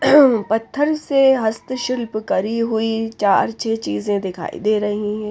पत्थर से हस्तशिल्प करी हुई चार छे चीज़ें दिखाई दे रही है।